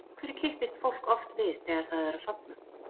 Af hverju kippist fólk oft við þegar það er að sofna?